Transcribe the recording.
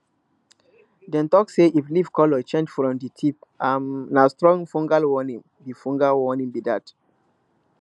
dem talk say if leaf colour change from di tip um na strong fungal warning be fungal warning be dat